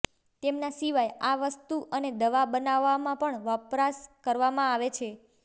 તેમના સિવાય આ વસ્તુ અને દવા બનાવવામાં પણ વપરાશ કરવામાં આવે છે